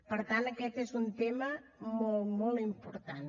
per tant aquest és un tema molt molt important